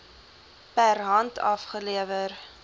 per hand afgelewer